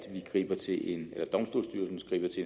ikke til en